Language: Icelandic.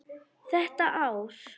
Þetta ár.